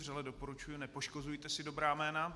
Vřele doporučuji - nepoškozujte si dobrá jména.